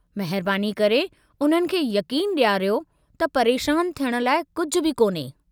महिरबानी करे उन्हनि खे यक़ीनु ॾियारियो त परेशान थियणु लाइ कुझु बि कोन्हे।